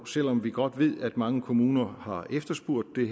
selv om vi godt ved at mange kommuner har efterspurgt det